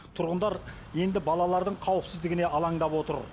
тұрғындар енді балалардың қауіпсіздігіне алаңдап отыр